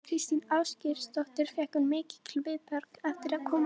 Þóra Kristín Ásgeirsdóttir: Fékkstu mikil viðbrögð eftir að þú komst fram í vor?